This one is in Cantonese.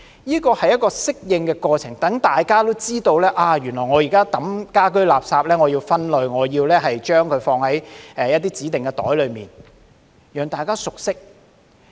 這是一個適應過程，讓大家也知道原來我現在棄置家居垃圾是要分類、要將垃圾放在指定的袋裏，讓大家熟識。